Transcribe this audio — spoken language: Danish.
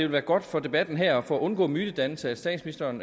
være godt for debatten her og for at undgå mytedannelser hvis statsministeren